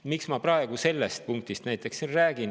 Miks ma praegu sellest siin räägin?